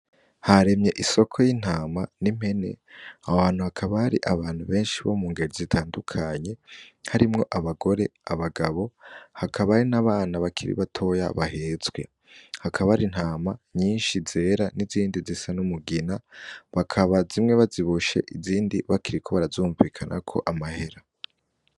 Haremye isoko y'intama n'impene abo hantu hakabari abantu benshi bo mu ngeru zitandukanye harimwo abagore abagabo hakaba ari n'abana bakiri batoya bahetswe hakaba ari ntama nyinshi zera n'izindi zisa n'umugina bakaba zimwe baziboshe izindi bakiri ko barazumvikana ko amahera.